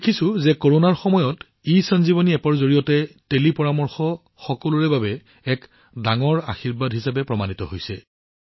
আমি দেখিছোঁ যে কৰোনাৰ সময়ত ইসঞ্জীৱনী এপ্প জনসাধাৰণৰ বাবে এক ডাঙৰ আশীৰ্বাদ হিচাপে প্ৰমাণিত হৈছে